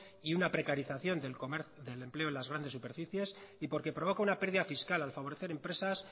y una precarización del empleo en las grandes superficies y porque provoca una pérdida fiscal al favorecer empresas